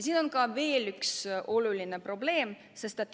On veel üks oluline probleem.